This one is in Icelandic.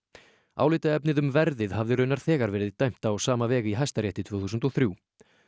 álitaefnið um verðið hafði raunar þegar verið dæmt á sama veg í Hæstarétti tvö þúsund og þrjú